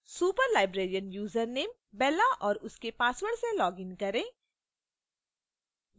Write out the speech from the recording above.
superlibrarian username bella और उसके password से login करें